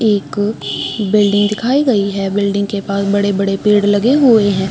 एक अ बिल्डिंग दिखाई गई है बिल्डिंग के पास बड़े-बड़े पेड़ लगे हुए हैं।